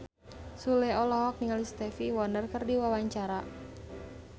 Sule olohok ningali Stevie Wonder keur diwawancara